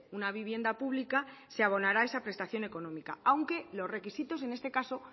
una vivienda pública se abonará esa prestación económica aunque los requisitos en este caso